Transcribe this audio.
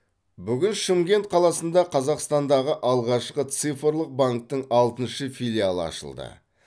бүгін шымкент қаласында қазақстандағы алғашқы цифрлық банктің алтыншы филиалы ашылды